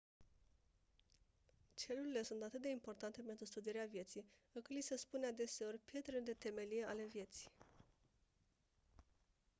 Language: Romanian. celulele sunt atât de importante pentru studierea vieții încât li se spune adeseori «pietrele de temelie ale vieții».